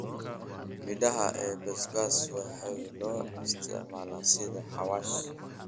Midhaha ee basbaas waxay loo isticmaalaa sida xawaash.